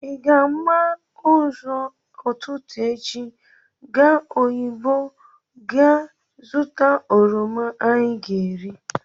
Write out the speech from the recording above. Ịga-agba ụzọ ụtụtụ echi gaa oyigbo gaa zụta oroma anyị ga-ere?